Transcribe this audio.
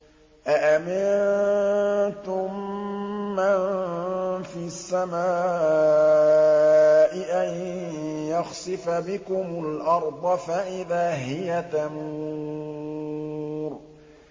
أَأَمِنتُم مَّن فِي السَّمَاءِ أَن يَخْسِفَ بِكُمُ الْأَرْضَ فَإِذَا هِيَ تَمُورُ